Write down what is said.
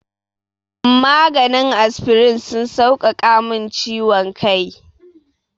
Maganin asfirin sun sauƙaƙa min ciwon kai.